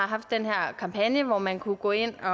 haft den her kampagne hvor man kunne gå ind og